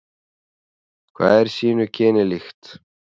Hvað er sínu kyni líkt.